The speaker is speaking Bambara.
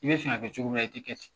I bɛ fɛ ka kɛ cogo min na i tɛ kɛ ten